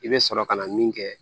I bɛ sɔrɔ ka na min kɛ